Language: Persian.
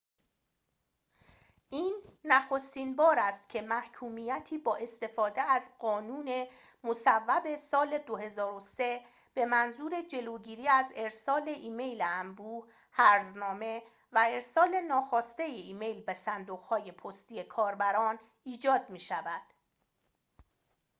این نخستین بار است که محکومیتی با استفاده از قانون مصوب سال ۲۰۰۳ به منظور جلوگیری از ارسال ایمیل انبوه هرزنامه و ارسال ناخواسته ایمیل به صندوق های پستی کاربران ایجاد می‌شود